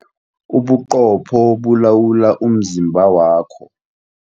Ubuqopho bulawula umzimba wakho.